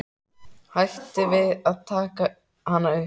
Hætti við að taka hana upp.